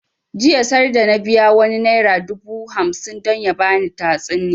Jiya sarda na biya wani naira dubu hamsin don ya bani tatsuniya